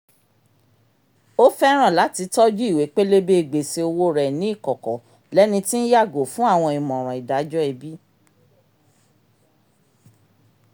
o fẹràn lati tọju ìwé pélébé gbèsè òwò rẹ ni ikọkọ lẹni tí nyàgò fún awọn ìmọràn ìdájọ́ ẹbi